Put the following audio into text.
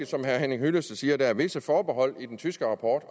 som herre henning hyllested siger rigtigt at der er visse forbehold i den tyske rapport